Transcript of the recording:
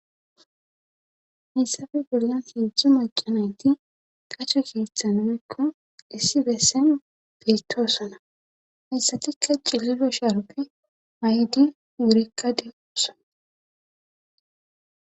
hessafe bollan hiidzdzo macanayti tache keeththa numekko issi bessen beetoosana hessatikka cililo shaaroppe may7di wurekka de'osana